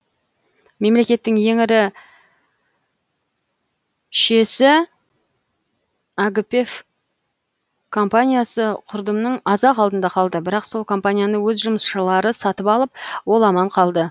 мемлекеттің ең ірі шііесі аігііпев компаниясы құрдымның аз ақ алдында қалды бірақ сол компанияны өз жұмысшылары сатып алып ол аман қалды